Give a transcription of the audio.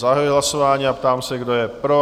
Zahajuji hlasování a ptám se, kdo je pro?